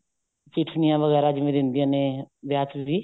ਸਿੱਠਣੀਆਂ ਵਗੈਰਾ ਜਿਵੇਂ ਦਿੰਦਿਆਂ ਨੇ ਵਿਆਹ ਚ ਵੀ